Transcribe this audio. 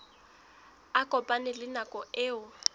a kopane le nako eo